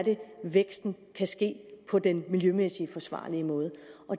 væksten kan ske på en miljømæssigt forsvarlig måde